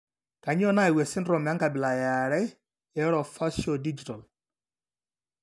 Kainyio nayau esindirom enkabila eare eOrofaciodigital?